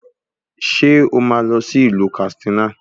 Ṣé o máa lọ sí ìlú Kàtsínà